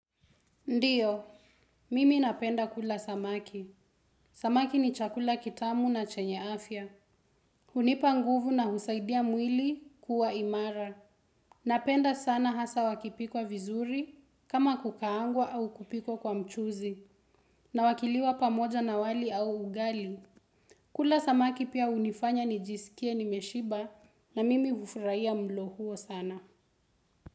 Ndiyo, mimi napenda kula samaki. Samaki ni chakula kitamu na chenye afya. Hunipa nguvu na husaidia mwili kuwa imara. Napenda sana hasa wakipikwa vizuri, kama kukaangwa au kupikwa kwa mchuzi, na wakiliwa pamoja na wali au ugali. Kula samaki pia hunifanya nijisikie nimeshiba na mimi hufurahia mlo huo sana.